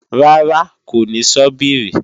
Rárá, kò ní sọ́bìrì